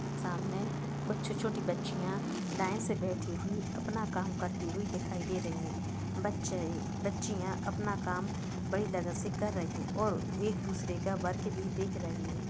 सामने कुछ छोटी-छोटी बच्चीयां लाइन से बेठी हुई अपना काम करते हुये दिखाई दे रही हैं। बच्चे बच्चीयां अपना काम बड़ी लगन से कर रही हैं और एक दूसरे का वर्क भी देख रही हैं।